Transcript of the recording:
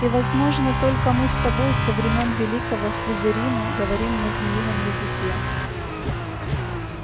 и возможно только мы с тобой со времён великого слизерина говорим на змеином языке